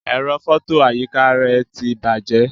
Ẹ̀rọ fọto àyíká rẹ ti bàjẹ́.